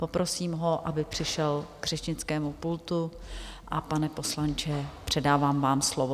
Poprosím ho, aby přišel k řečnickému pultu, a pane poslanče, předávám vám slovo.